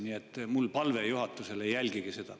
Nii et mul on palve juhatusele: jälgige seda.